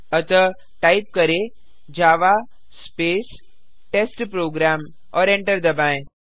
अतः टाइप करें Java space test program और एंटर दबाएँ